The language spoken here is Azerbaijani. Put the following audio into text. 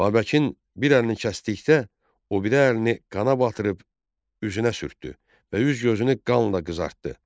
Babəkin bir əlini kəsdikdə, o biri əlini qana batırıb üzünə sürtdü və üz gözünü qanla qızartdı.